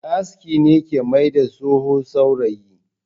Mai aski ne ke mai da tsoho saurayi.